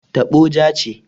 Taɓo ja ce.